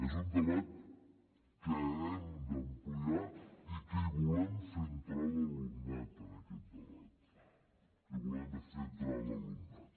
és un debat que hem d’ampliar i que hi volem fer entrar l’alumnat en aquest debat hi volem fer entrar l’alumnat